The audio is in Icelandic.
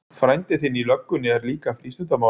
Frændi þinn í löggunni er líka frístundamálari.